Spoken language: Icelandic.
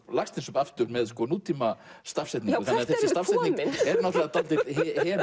Laxness upp aftur með nútíma stafsetningu þessi stafsetning er